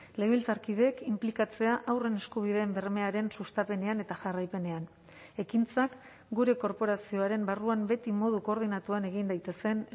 legebiltzarkideek inplikatzea haurren eskubideen bermearen sustapenean eta jarraipenean ekintzak gure korporazioaren barruan beti modu koordinatuan egin daitezen